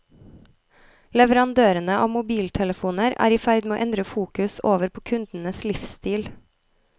Leverandørene av mobiltelefoner er i ferd med å endre fokus over på kundenes livsstil.